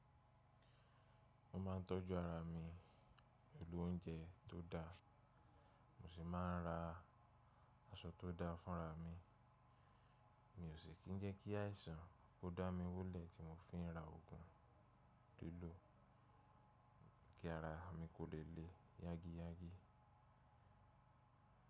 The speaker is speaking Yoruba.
Mo ma ńtọ́jú ara mi pelu oúnjẹ tó dáa, mo sì máa ń ra aṣọ tó dáa fúnra mi. Mi ò sì kí i jẹ́ kí àìsàn kó dá mi wúlẹ̀ tí mo fi ń ra oògùn lílò kí ara mi kò le le yágiyági.